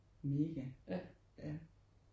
Mega ja